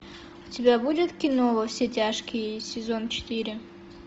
у тебя будет кино во все тяжкие сезон четыре